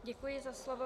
Děkuji za slovo.